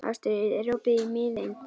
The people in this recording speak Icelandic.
Ástríður, er opið í Miðeind?